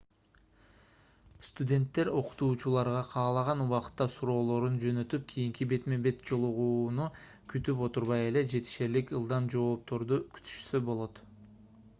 студенттер окутуучуларга каалаган убакытта суроолорун жөнөтүп кийинки бетме-бет жолугууну күтүп отурбай эле жетишерлик ылдам жоопторду күтүшсө болот